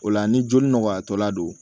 O la ni joli nɔgɔyatɔla do